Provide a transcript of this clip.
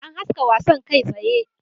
An haska wasan kai tsaye